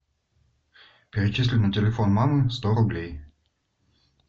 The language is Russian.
перечисли на телефон мамы сто рублей